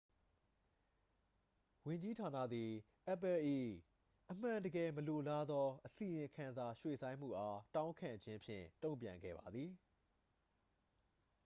"ဝန်ကြီးဌာနသည် apple ၏ "အမှန်တကယ်မလိုလားသော" အစီရင်ခံစာရွှေ့ဆိုင်းမှုအား တောင်းခံခြင်းဖြင့် တုန့်ပြန်ခဲ့ပါသည်။